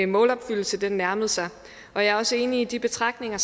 målopfyldelse nærmede sig og jeg er også enig i de betragtninger